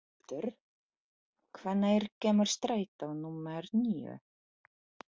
Ingvaldur, hvenær kemur strætó númer níu?